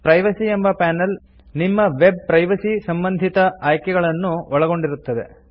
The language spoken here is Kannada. ಪ್ರೈವಸಿ ಎಂಬ ಪಾನೆಲ್ ನಿಮ್ಮ ವೆಬ್ ಪ್ರೈವಸಿ ಸಂಬಂಧಿತ ಆಯ್ಕೆಗಳನ್ನು ಒಳಗೊಂಡಿರುತ್ತದೆ